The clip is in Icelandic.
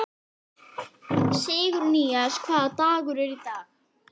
Það var áreiðanlega bara af hlaupunum kringum húsið, hugsaði